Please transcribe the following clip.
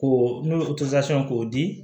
Ko n'o k'o di